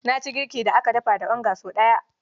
Na ci girkin da aka dafa da onga sau ɗaya.